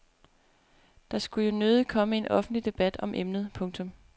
Der skulle jo nødigt komme en offentlig debat om emnet. punktum